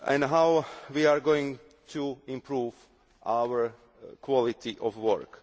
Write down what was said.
How are we going to improve our quality of work?